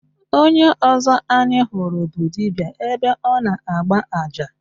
Onye ọzọ anyị hụrụ bụ dibịa ebe ọ na-agba aja.